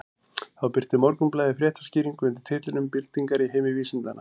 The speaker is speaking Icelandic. Þá birti Morgunblaðið fréttaskýringu undir titlinum Byltingar í heimi vísindanna.